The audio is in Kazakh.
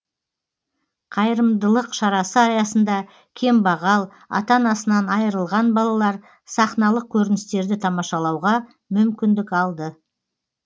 қайырымыдылық шарасы аясында кембағал ата анасынан айырылған балалар сахналық көріністерді тамашалауға мүмкіндік алды